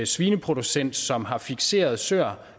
svineproducent som har fikserede søer